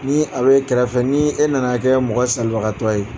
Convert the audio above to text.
Ni a bɛ kɛrɛfɛ ni e nana kɛ mɔgɔ salibakatɔ ye